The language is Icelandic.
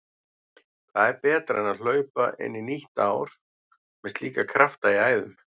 Hvað er betra en hlaupa inn í nýtt ár með slíka krafta í æðum?